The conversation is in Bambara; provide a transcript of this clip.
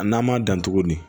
A n'an m'a dan tuguni